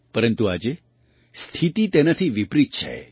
પરંતુ આજે સ્થિતિ તેનાથી વિપરીત છે